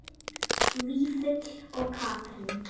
Vífill og Katrín.